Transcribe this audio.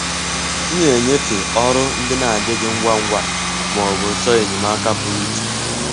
M na-enyefe ọrụ ndị na-adịghị ngwa ngwa ma ọ bụ chọọ enyemaka pụrụ iche.